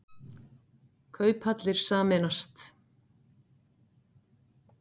Kauphallir sameinast